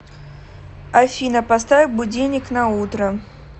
афина поставь будильник на утро